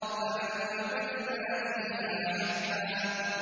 فَأَنبَتْنَا فِيهَا حَبًّا